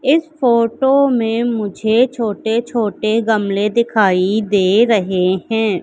इस फोटो में मुझे छोटे छोटे गमले दिखाई दे रहें हैं।